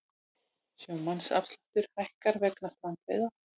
Sjómannaafsláttur hækkar vegna strandveiða